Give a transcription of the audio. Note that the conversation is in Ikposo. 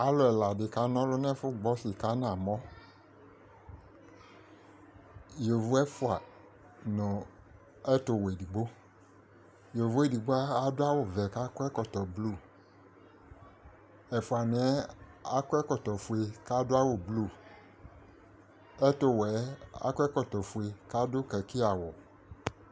Alʋ ɛla dɩ kana ɔlʋ nʋ ɛfʋgbo sɩka nʋ amɔ Yovo ɛfʋa nʋ ɛtʋwɛ edigbo Yovo edigbo adʋ awʋ vɛ kʋ akɔ ɛkɔtɔ blu Ɛfʋanɩ yɛ akɔ ɛkɔtɔ fue kʋ adʋ awʋ blu Ɛtʋwɛ yɛ, akɔ ɛkɔtɔ fue kʋ adʋ kaki awʋ